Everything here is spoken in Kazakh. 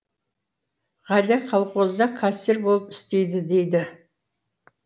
ғалия колхозда кассир болып істейді дейді